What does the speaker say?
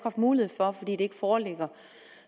mulighed for fordi de ting ikke foreligger